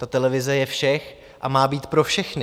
Ta televize je všech a má být pro všechny.